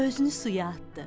Özünü suya atdı.